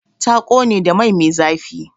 Ta ƙone da mai me zafi.